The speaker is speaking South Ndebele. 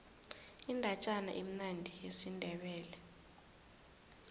indatjana emnandi yesindebele